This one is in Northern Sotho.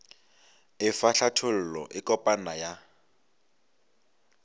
efa hlathollo e kopana ya